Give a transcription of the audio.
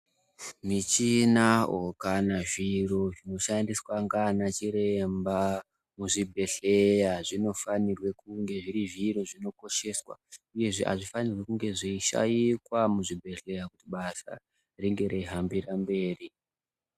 Michina kana zviro zvoshandiswa ngana chiremba muzvibhedhlera zvinofanirwe kunge zviri zviro zvinokosheswa uyezve hazvifanirwe kunge zveishaikwa muzvibhedhlera kuti basa ringe reihambire mberi